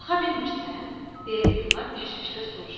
Qalxa bilmirsən? deyə Gülnar təşvişlə soruşur.